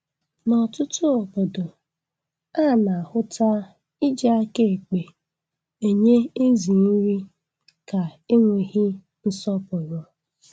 N'ọtụtụ obodo, a na-ahụta iji aka ekpe enye ezi nri ka enweghị nsọpụrụ